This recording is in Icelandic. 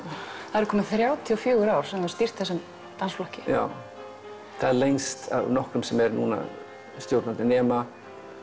það eru komin þrjátíu og fjögur ár sem þú hefur stýrt þessum flokki já það er lengst af nokkrum sem er stjórnandi núna nema